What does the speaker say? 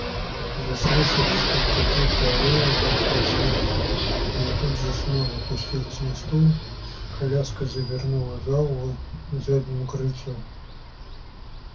заслышав стук копыт по аллее она вскочила но тут же снова опустилась на стул коляска завернула за угол к заднему крыльцу